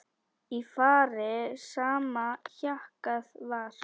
Í fari sama hjakkað var.